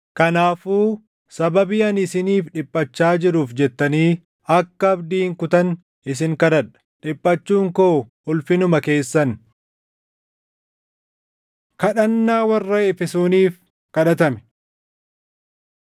Kanaafuu sababii ani isiniif dhiphachaa jiruuf jettanii akka abdii hin kutanne isin kadhadha; dhiphachuun koo ulfinuma keessan. Kadhannaa Warra Efesooniif Kadhatame